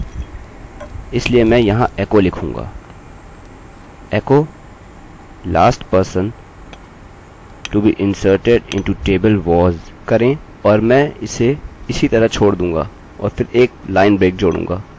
एकोecholast person to be inserted into table was करें और मैं इसे उसी तरह छोड़ दूँगा और फिर एक लाइन ब्रेक जोडूँगा